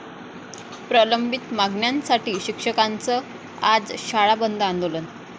प्रलंबित मागण्यांसाठी शिक्षकांचं आज शाळा बंद आंदोलन